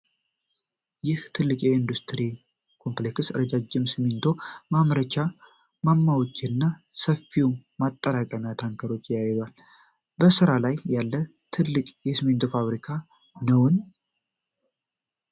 ይህ ትልቅ የኢንዱስትሪ ኮምፕሌክስ፣ ረዣዥም የሲሚንቶ ማምረቻ ማማዎችን እና ሰፋፊ ማጠራቀሚያ ታንኮችን የያዘው፣ በስራ ላይ ያለ ትልቅ የሲሚንቶ ፋብሪካ ነውን?